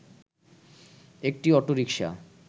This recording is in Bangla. একটি অটোরিকশা